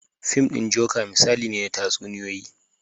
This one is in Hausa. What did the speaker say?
Fim ɗin joker misali ne na tatsuniyoyi